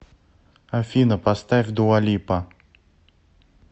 афина поставь дуа липа